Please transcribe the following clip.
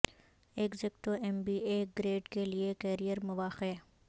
executive M B A grade کے لئے career مواقع